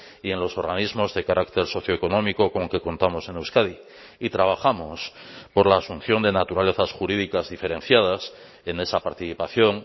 y en los organismos de carácter socioeconómico con que contamos en euskadi y trabajamos por la asunción de naturalezas jurídicas diferenciadas en esa participación